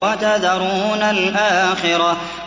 وَتَذَرُونَ الْآخِرَةَ